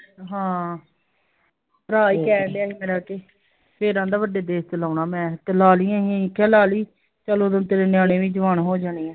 ਹਾਂ ਭਰਾ ਈ ਕਹਿਣ ਡਿਯਾ ਸੀ ਮੇਰਾ ਤੇ ਫਿਰ ਆਂਦਾ ਵੱਡੇ ਦੇਸ ਚ ਲਾਉਣਾ ਮੈਂ ਤੇ ਲਾ ਲੀ ਅਸੀਂ ਅਸੀਂ ਕਿਹਾ ਲਾ ਲੀ ਚੱਲ ਤੇਰੇ ਨਿਆਣੇ ਵੀ ਜਵਾਨ ਹੋ ਜਾਣੇ ਆ